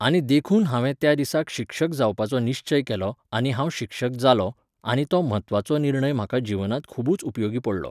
आनी देखून हांवें त्या दिसाक शिक्षक जावपाचो निश्चय केलो आनी हांव शिक्षक जालों, आनी तो म्हत्वाचो निर्णय म्हाका जिवनांत खुबूच उपयोगी पडलो